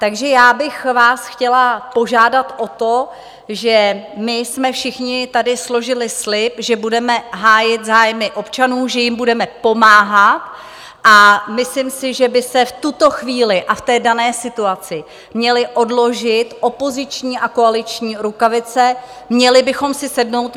Takže já bych vás chtěla požádat o to, že my jsme všichni tady složili slib, že budeme hájit zájmy občanů, že jim budeme pomáhat, a myslím si, že by se v tuto chvíli a v té dané situaci měly odložit opoziční a koaliční rukavice, měli bychom si sednout.